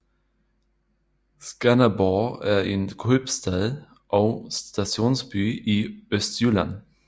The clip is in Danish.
Skanderborg er en købstad og stationsby i Østjylland